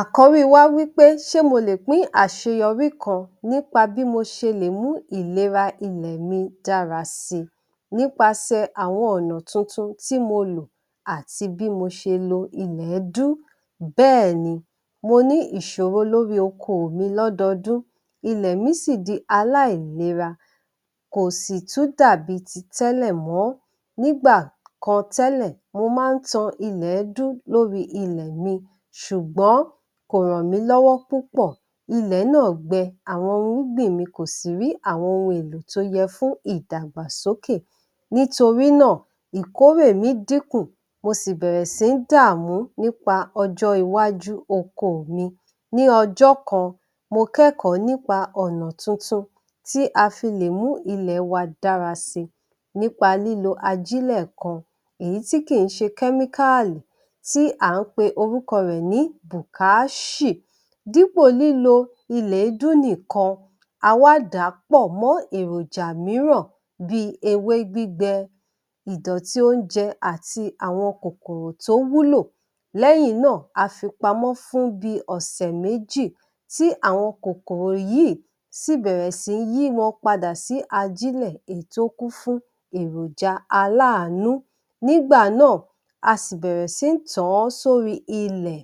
Àkọ́rí wa wí pé ṣe mo lè pín àṣeyọrí kan nípa bí mo ṣe lè mú ìlera ilẹ̀ mi dára si nípasẹ àwọn ọ̀nà tuntun tí mo lò àti bí mo ṣe lo ilẹ̀ẹ́dú? Bẹ́ẹ̀ni, mo ní ìṣòro lórí oko mi lódọọdún, ilẹ̀ mi sì di aláìlera, kò sì tún dàbí ti tẹ́lẹ̀ mọ́. Nígbà kan tẹ́lẹ̀, mo máa ń tan ilẹ̀ẹ́dú lórí ilẹ̀ mi ṣùgbọ́n kò rànmí lọ́wọ́ púpọ̀. Ilẹ̀ náà gbẹ, àwọn ohun irúgbìn mi kò sì rí àwọn ohun èlò tó yẹ fún ìdàgbàsókè. Nítorí náà, ìkórè mi dínkù, mo sì bẹ̀rẹ̀ sí ń dààmú nípa ọjọ́-iwájú oko mi. Ní ọjọ́ kan, mo kẹ́kọ̀ọ́ nípa ọ̀nà tuntun tí a fi lè mú ilẹ̀ wa dára si, nípa lílo ajílẹ̀ kan, èyí tí kì ń ṣe kẹ́míkáàlì tí à ń pe orúkọ rẹ̀ ní Bùkááṣì. Dípò lílo ilẹ̀-èédú nìkan, a wá dàá pọ̀ mọ́ èròjà mìíràn bí i ewé gbígbẹ, ìdọ̀tí oúnjẹ àti àwọn kòkòrò tó wúlò. Lẹ́yìn náà, a fi pamọ́ fún bí i ọ̀sẹ̀ méjì tí àwọn kòkòrò yìí sì bẹ̀rẹ̀ sí yí wọn padà sí ajílẹ̀ èyí tó kún fún èròjà aláàánú. Nígbà náà, a sì bẹ̀rẹ̀ sí ń tàn-án sórí ilẹ̀,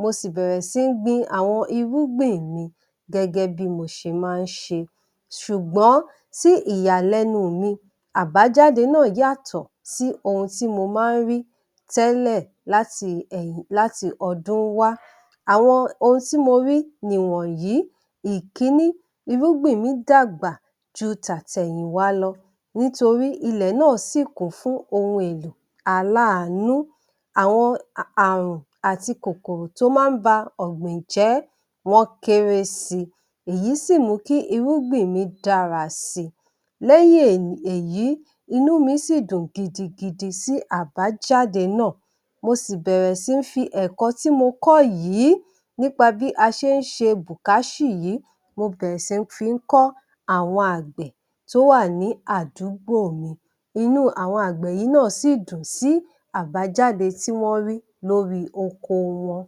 mo sì bẹ̀rẹ̀ sí ń gbin àwọn irúgbìn mi, gẹ́gẹ́ bí mo ṣe máa ń ṣe. Ṣùgbọ́n, sí ìyàlẹ́nu mi, àbájáde náà yàtọ̀ sí ohun tí mo máa ń rí tẹ́lẹ̀ láti ẹ̀yìn, láti ọdún wá. Àwọn ohun tí mo rí nìwọ̀nyí: Ìkíní, irúgbìn mi dàgbà ju tàtẹ̀yìnwá lọ nítorí ilẹ̀ náà sì kún fún ohun èlò aláàánú. Àwọn à- ààrùn àti kòkòrò tó máa ń ba ọ̀gbìn jẹ́, wọ́n kéré si, èyí sì mú kí irúgbìn mi dára si. Lẹ́yìn èní, èyí, inú mi sì dùn gidigidi sí àbájáde náà, mo sì bẹ̀rẹ̀ sí ń fi ẹ̀kọ́ tí mo kọ́ yìí nípa bí a ṣe ń ṣe Bùkáṣì yìí, mo bẹ̀rẹ̀ sí ń fi ń kọ́ àwọn àgbẹ̀ tó wà ní àdúgbò mi. Inú àwọn àgbẹ̀ yìí náà sì dùn sí àbájáde tí wọ́n rí lórí oko wọn.